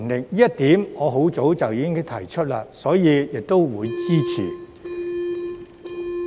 由於這一點我很早便提出過，所以我會支持。